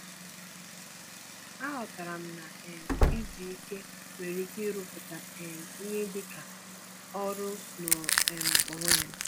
Aghọtara m na um izu ike nwere ike ịrụpụta um ihe dị ka ọrụ n'onwe um ya.